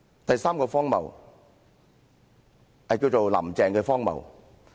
第三個荒謬，叫"林鄭"的荒謬。